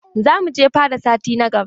Za mu je fada sati na gaba.